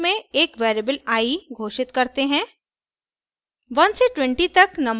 हम for loop में एक वेरिएबल i घोषित करते हैं